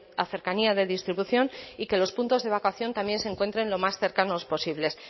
a cercanía de distribución y que los puntos de evacuación también se encuentren los más cercanos posibles